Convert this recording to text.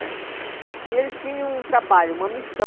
né. E eles tinham um trabalho, uma missão,